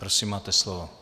Prosím, máte slovo.